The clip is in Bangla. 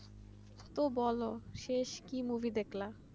তো বলো শেষ কি movie দেখলা